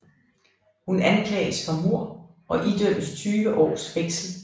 Hun anklages for mord og idømmes tyve års fængsel